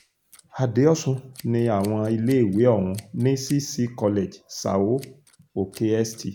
àdéosùn ní àwọn iléèwé ọ̀hún ní cc college são òkè st